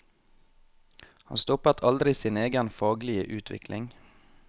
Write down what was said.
Han stoppet aldri sin egen faglige utvikling.